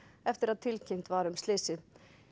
eftir að tilkynnt var um slysið